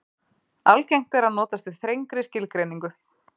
Algengt er að notast við þrengri skilgreiningu.